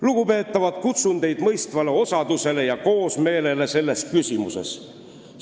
Lugupeetavad, kutsun teid mõistvale osadusele ja koosmeelele selles küsimuses!